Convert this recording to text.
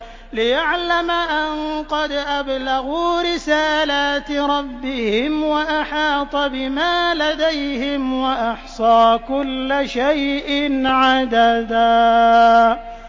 لِّيَعْلَمَ أَن قَدْ أَبْلَغُوا رِسَالَاتِ رَبِّهِمْ وَأَحَاطَ بِمَا لَدَيْهِمْ وَأَحْصَىٰ كُلَّ شَيْءٍ عَدَدًا